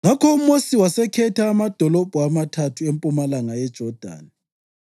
Ngakho uMosi wasekhetha amadolobho amathathu empumalanga yeJodani,